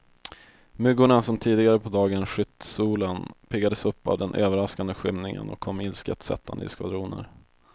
Myggorna som tidigare på dagen skytt solen, piggades upp av den överraskande skymningen och kom ilsket sättande i skvadroner.